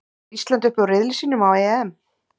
Fer Ísland upp úr riðli sínum á EM?